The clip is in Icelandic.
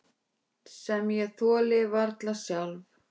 Sem ég þoli varla sjálf.